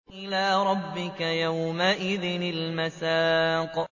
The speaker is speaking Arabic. إِلَىٰ رَبِّكَ يَوْمَئِذٍ الْمَسَاقُ